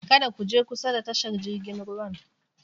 Kada ku je kusa da tashar jirgin ruwan!